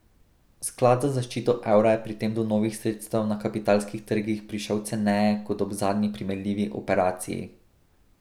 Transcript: Sklad za zaščito evra je pri tem do novih sredstev na kapitalskih trgih prišel ceneje kot ob zadnji primerljivi operaciji.